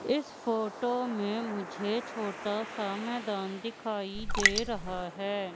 इस फोटो में मुझे छोटासा मैदान दिखाई दे रहा हैं।